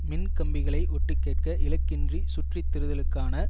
மின்கம்பிகளை ஒட்டுக்கேட்க இலக்கின்றி சுற்றி திரிதலுக்கான